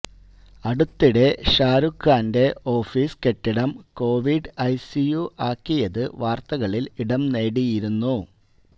അടുത്തിടെ ഷാരൂഖ് ഖാന്റെ ഓഫീസ് കെട്ടിടം കൊവിഡ് ഐസിയു ആകിയത് വാർത്തകളിൽ ഇടം നേടിയിരുന്നു